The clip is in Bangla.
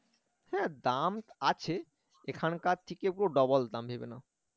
হ্যাঁ দাম আছে এখানকার থেকে পুরো double দাম ভেবে নাও